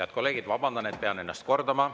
Head kolleegid, vabandage, et pean ennast kordama.